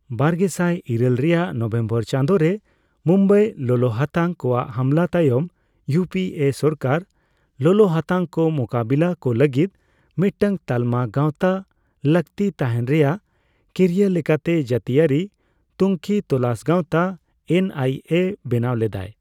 ᱵᱟᱨᱜᱮᱥᱟᱭ ᱤᱨᱟᱹᱞ ᱨᱮᱭᱟᱜ ᱱᱚᱵᱷᱮᱢᱵᱚᱨ ᱪᱟᱸᱫᱳ ᱨᱮ ᱢᱩᱢᱵᱟᱭ ᱞᱚᱞᱚᱦᱟᱛᱟᱝ ᱠᱚᱣᱟᱜ ᱦᱟᱢᱞᱟ ᱛᱟᱭᱚᱢ ᱤᱭᱩᱹᱯᱤᱹᱮ ᱥᱚᱨᱠᱟᱨ ᱞᱚᱞᱚᱦᱟᱛᱟᱝ ᱠᱚ ᱢᱩᱠᱟᱹᱵᱤᱞᱟ ᱠᱚ ᱞᱟᱹᱜᱤᱫ ᱢᱤᱫᱴᱟᱝ ᱛᱟᱞᱢᱟ ᱜᱟᱣᱛᱟ ᱞᱟᱹᱠᱛᱤ ᱛᱟᱦᱮᱸᱱ ᱨᱮᱭᱟᱜ ᱠᱤᱨᱭᱟᱹ ᱞᱮᱠᱟᱛᱮ ᱡᱟᱹᱛᱤᱭᱟᱹᱨᱤ ᱛᱩᱝᱠᱷᱤ ᱛᱚᱞᱟᱥ ᱜᱟᱣᱛᱟ ᱮᱱᱹᱟᱭᱹᱮ ᱵᱮᱱᱟᱣ ᱞᱮᱫᱟᱭ ᱾